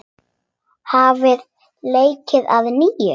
Hafið leikinn að nýju.